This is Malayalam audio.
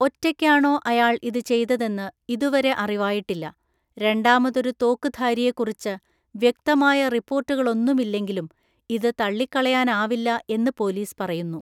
ഒറ്റയ്ക്കാണോ അയാള്‍ ഇത് ചെയ്തതെന്ന് ഇതുവരെ അറിവായിട്ടില്ല; രണ്ടാമതൊരു തോക്കുധാരിയെക്കുറിച്ച് വ്യക്തമായ റിപ്പോർട്ടുകളൊന്നുമില്ലെങ്കിലും ഇത് തള്ളിക്കളയാനാവില്ല എന്ന് പോലീസ് പറയുന്നു.